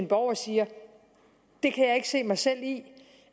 borgeren siger det kan jeg ikke se mig selv i